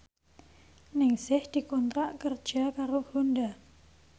Ningsih dikontrak kerja karo Honda